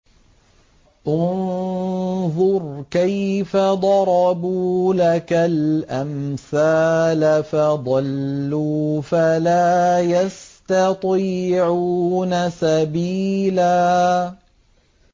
انظُرْ كَيْفَ ضَرَبُوا لَكَ الْأَمْثَالَ فَضَلُّوا فَلَا يَسْتَطِيعُونَ سَبِيلًا